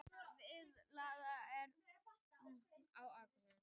Biðlistar eftir hjúkrunarrýmum á Akureyri